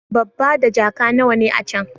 Babba da jaka nawa ne a can?